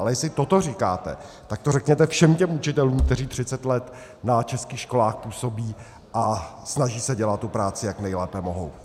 Ale jestli toto říkáte, tak to řekněte všem těm učitelům, kteří 30 let na českých školách působí a snaží se dělat tu práci, jak nejlépe mohou.